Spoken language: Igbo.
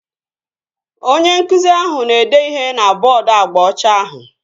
Onye nkụzi ahụ na-ede ihe na bọọdu agba ọcha ahụ